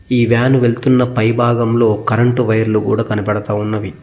ఈ వ్యాను వెళుతున్న పై భాగంలో కరెంటు వైర్లు కూడా కనపడుతా ఉన్నవి.